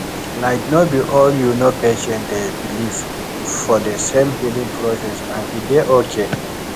like no be all you know patients dey believe for de same healing process and e dey okay